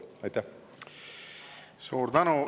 Suur tänu!